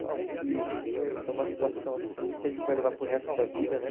Eu acho que foi uma situação assim que a gente vai levar para o resto da vida, né?